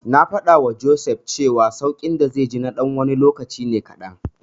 Na faɗawa Joseph cewa sauƙin da zai ji na ɗan lokaci ne kaɗan.